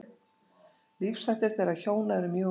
Lífshættir þeirra hjóna eru mjög ólíkir.